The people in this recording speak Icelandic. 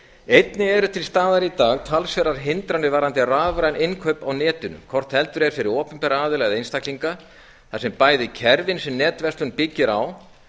einnig eru til staðar í dag talsverðar hindranir varðandi rafræn innkaup á netinu hvort heldur er fyrir opinbera aðila eða einstaklinga þar sem bæði kerfin sem netverslun byggir á